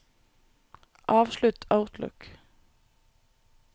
avslutt Outlook